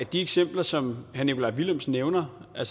de eksempler som herre nikolaj villumsen nævner at